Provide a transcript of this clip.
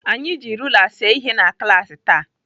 Anyị ji rula see ihe na klaasị taa.